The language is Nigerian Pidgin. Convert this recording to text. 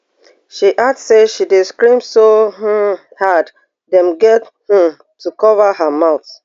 she add say she dey scream so um hard dem get um to cover her mouth